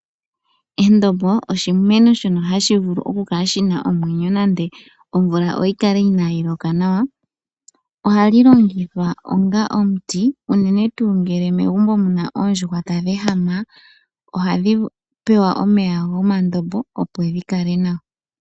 Endombo oshimeno shona hashi vulu oku kala shina omwenyo nande omvula inayi loka nawa. Ohali longithwa onga omuti unene tuu ngele megumbo muna oondjuhwa tadhi ehama , ohadhi pewa omeya gomandombo opo dhi kale nawa.